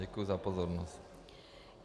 Děkuji za pozornost.